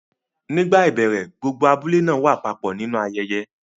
Nígbà ìbẹ̀rẹ̀, gbogbo abúlé náà wá papọ̀ nínú ayẹyẹ.